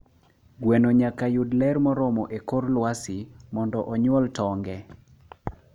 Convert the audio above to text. Gweno nyaka yud ler moromo e kor lwasi mondo onyuol tong'e.